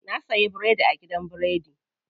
Na suyi biredi a gidan biredi.